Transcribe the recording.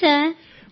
అవును సార్